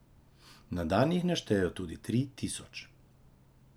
Na dan jih naštejejo tudi tri tisoč.